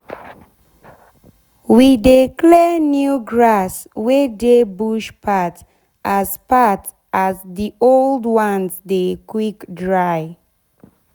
we de clear new grass wey dey bush path as path as d old ones dey quick dry.